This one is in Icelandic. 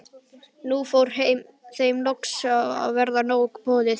Nú fór þeim loks að verða nóg boðið.